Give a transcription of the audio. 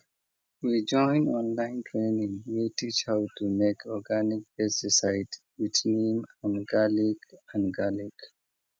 we join online training wey teach how to make organic pesticide with neem and garlic and garlic